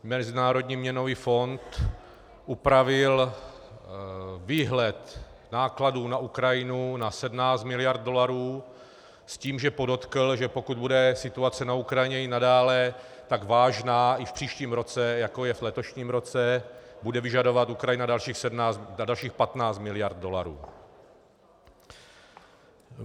Mezinárodní měnový fond upravil výhled nákladů na Ukrajinu na 17 miliard dolarů s tím, že podotkl, že pokud bude situace na Ukrajině i nadále tak vážná i v příštím roce, jako je v letošním roce, bude vyžadovat Ukrajina dalších 15 miliard dolarů.